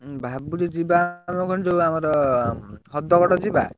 ଭାବୁଛି ଯିବା ଆମର, ଯୋଉ ଆମର ହ୍ରଦଗଡ ଯିବା?